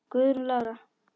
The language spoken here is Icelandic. Guðrún Lára.